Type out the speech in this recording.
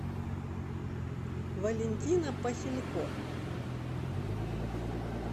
валентина похилько